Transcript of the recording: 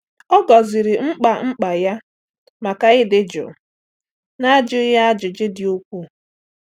Ọ gọziri mkpa mkpa ya maka ịdị jụụ, na-ajụghị ajụjụ dị ukwuu.